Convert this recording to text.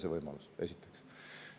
See võimalus teil on, esiteks.